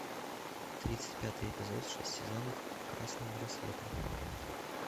тридцать пятый эпизод шесть сезонов красные браслеты